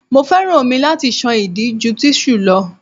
Mo féràn omi láti ṣan ìdí ju tíṣù lọ.